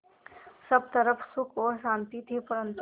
सब तरफ़ सुख और शांति थी परन्तु